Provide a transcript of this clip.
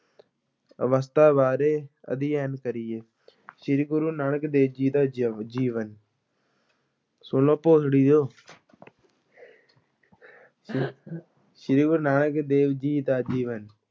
ਅਵਸਥਾ ਬਾਰੇ ਅਧਿਐਨ ਕਰੀਏ ਸ੍ਰੀ ਗੁਰੂ ਨਾਨਕ ਦੇਵ ਜੀ ਦਾ ਜ ਜੀਵਨ ਸ੍ਰੀ ਗੁਰੂ ਨਾਨਕ ਦੇਵ ਜੀ ਦਾ ਜੀਵਨ